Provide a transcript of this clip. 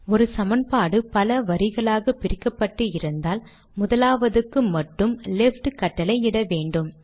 ஒரு சமன்பாடு பல வரிகளாக பிரிக்கப்பட்டு இருந்தால் முதலாவதுக்கு மட்டும் லெஃப்ட் கட்டளை இட வேண்டும்